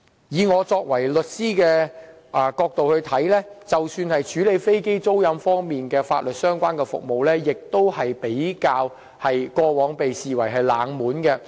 以我作為律師的角度來看，即使是處理飛機租賃方面的法律相關服務，過往亦被視為冷門行業。